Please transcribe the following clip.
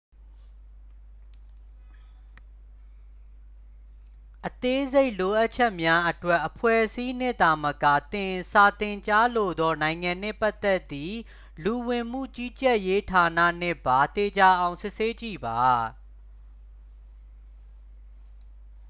အသေးစိတ်လိုအပ်ချက်များအတွက် အဖွဲ့အစည်းနှင့်သာမက သင် စာသင်ကြားလိုသောနိုင်ငံနှင့်ပတ်သက်သည့် လူဝင်မှုကြီးကြပ်ရေးဌာနနှင့်ပါ သေချာအောင်စစ်ဆေးကြည့်ပါ